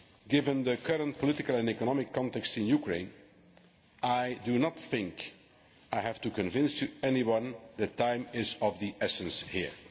Given the current political and economic context in Ukraine, I do not think I have to convince anyone that time is of the essence here.